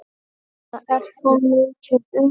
Þetta er svo mikið undur.